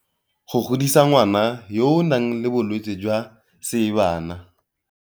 Go godisa ngwana yo o nang le bolwetse jwa seebana.